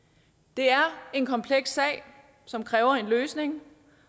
det er en kompleks sag som kræver en løsning